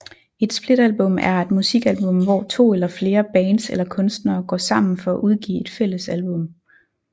Et splitalbum er et musikalbum hvor to eller flere bands eller kunstnere går sammen for at udgive et fælles album